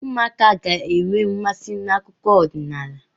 Ụmụaka ga-enwe nmasị n'akụkọ ọdịnala.